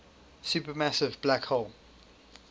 supermassive black hole